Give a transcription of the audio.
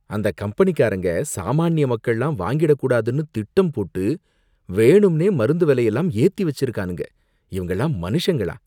அந்த கம்பெனிகாரங்க சாமானிய மக்கள்லாம் வாங்கிடக் கூடாதுன்னு திட்டம் போட்டு வேணும்னே மருந்து விலையெல்லாம் ஏத்தி வச்சிருக்கானுங்க, இவங்களாம் மனுஷங்களா